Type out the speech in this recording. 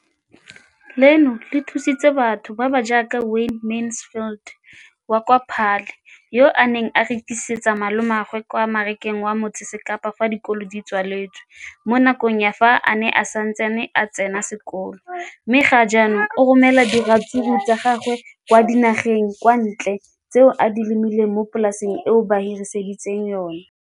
leno le thusitse batho ba ba jaaka Wayne Mansfield, 33, wa kwa Paarl, yo a neng a rekisetsa malomagwe kwa Marakeng wa Motsekapa fa dikolo di tswaletse, mo nakong ya fa a ne a santse a tsena sekolo, mme ga jaanong o romela diratsuru tsa gagwe kwa dinageng tsa kwa ntle tseo a di lemileng mo polaseng eo ba mo hiriseditseng yona.